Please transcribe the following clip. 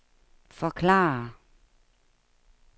forklare